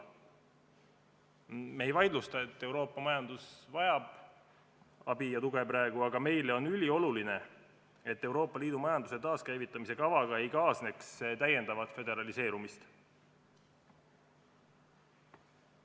Me ei vaidlusta seda, et Euroopa majandus vajab praegu abi ja tuge, aga meie jaoks on ülioluline, et Euroopa Liidu majanduse taaskäivitamise kavaga ei kaasneks täiendavat föderaliseerumist.